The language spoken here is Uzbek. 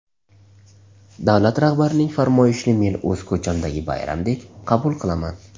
Davlat rahbarining farmoyishini men o‘z ko‘chamdagi bayramdek qabul qilaman.